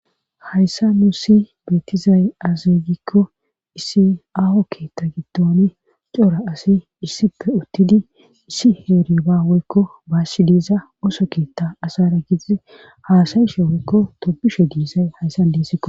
Hayssa nuu si beettizay azeygikko issi aaho keetta gidton cora asi issipe uttidi issi heeriba woykko baassi diiza oso keetta asara gidizi haasayishe woykko tobishe diizay hayssa deesikko.